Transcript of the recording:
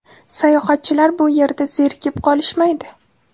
Sayohatchilar bu yerda zerikib qolishmaydi.